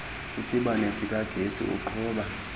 isibane sikagesi uqhuba